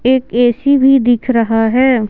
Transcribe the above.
एक ए_सी भी दिख रहा है।